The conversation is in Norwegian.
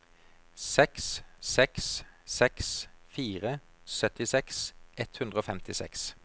seks seks seks fire syttiseks ett hundre og femtiseks